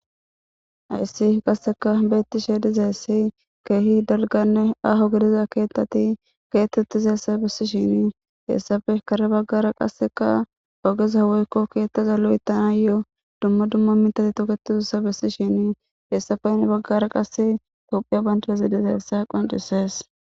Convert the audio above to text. Ayssi qasseka beetti she dizeessi keehi dalganne aho gidiza keettati keettetizessa bessishini hessafe kare baggara qasseka pageza weykko keettaza lu'ittanayoo dumma dumma mitati toketizusa bessi shini heessafe ne baggara qasse tophiya bandazi dizeessa qoncisees.